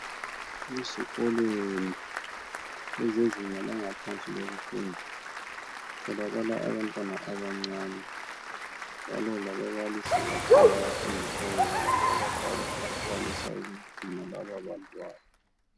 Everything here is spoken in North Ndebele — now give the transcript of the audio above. Ezikolweni ezezinga langaphansi lokufunda, kutholakala abantwana abancane. Njalo lababalisi bakhona abafundisayo ngabantu abadala, abakwanisa ukugcina laba bantwana.